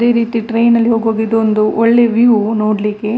ಇದೆ ರೀತಿ ಟ್ರೈನ್ ನಲ್ಲಿ ಹೋಗುವಾಗ ಇದೊಂದು ಒಳ್ಳೆ ವ್ಯೂ ನೋಡ್ಲಿಕ್ಕೆ.